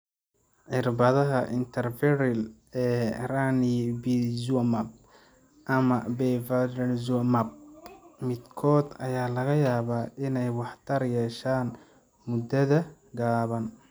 Cirbadaha intravitreal ee Ranibizumab ama Bevacizumab midkood ayaa laga yaabaa inay waxtar yeeshaan muddada gaaban.